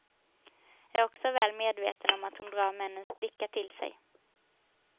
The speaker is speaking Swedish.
Är också väl medveten om att hon drar männens blickar till sig.